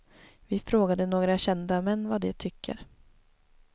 Vi frågade några kända män vad de tycker.